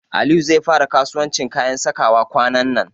Aliyu zai fara kasuwancin kayan sakawa kwanan nan.